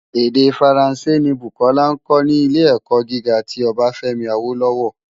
Èdè Fáránsé ni Bukola nkò ni Ilé-èkò gigá ti Obafemi Awolowo.